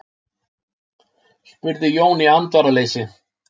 spurði Jón í andvaraleysi.